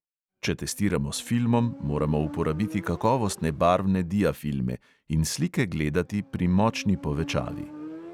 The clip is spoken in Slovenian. Če testiramo s filmom, moramo uporabiti kakovostne barvne diafilme in slike gledati pri močni povečavi.